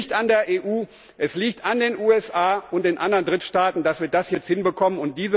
Es liegt nicht an der EU, es liegt an den USA und den anderen Drittstaaten, dass wir das jetzt hinbekommen.